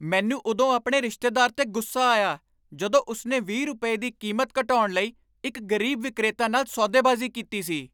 ਮੈਨੂੰ ਉਦੋਂ ਆਪਣੇ ਰਿਸ਼ਤੇਦਾਰ 'ਤੇ ਗੁੱਸਾ ਆਇਆ ਜਦੋਂ ਉਸ ਨੇ ਵੀਹ ਰੁਪਏ, ਦੀ ਕੀਮਤ ਘਟਾਉਣ ਲਈ ਇੱਕ ਗ਼ਰੀਬ ਵਿਕਰੇਤਾ ਨਾਲ ਸੌ ਦੇਬਾਜ਼ੀ ਕੀਤੀ ਸੀ